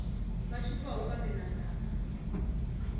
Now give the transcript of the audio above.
ba šupšago ka menwana a